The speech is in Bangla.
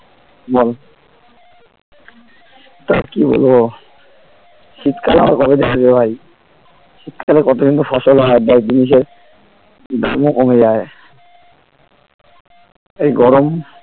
বল তা কি বলবো শীতকাল আবার কবে যে আসবে ভাই শীতকালে কত কিন্তু ফসল হয় প্রায় জিনিসের দামও কমে যায় এই গরম